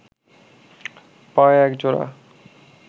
পায়ে এক জোড়া